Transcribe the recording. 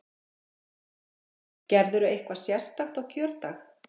Linda: Gerirðu eitthvað sérstakt á kjördag?